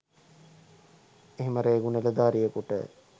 එහෙම රේගු නිලධාරියෙකුට